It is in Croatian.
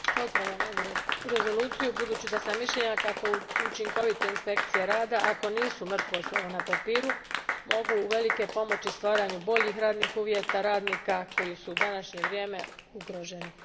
Gospodine predsjedavajući, pozdravljam ovu Rezoluciju budući da sam mišljenja kako učinkovite inspekcije rada, ako nisu mrtvo slovo na papiru, mogu uvelike pomoći stvaranju boljih radnih uvjeta radnika koji su u današnje vrijeme ugroženi.